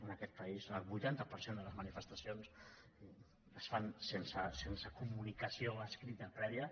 en aquest país el vuitanta per cent de les manifestacions es fan sense comunicació escrita prèvia